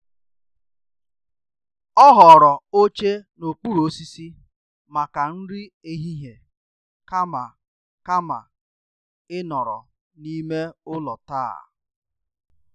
Ọ họọrọ oche n'okpuru osisi maka nri ehihie kama kama ịnọrọ n'ime ụlọ taa.